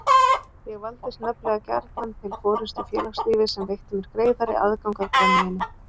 Ég valdist nefnilega gjarnan til forystu í félagslífi sem veitti mér greiðari aðgang að brennivíni.